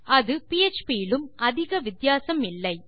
அது பிஎச்பி இலும் அதிக வித்தியாசம் இல்லை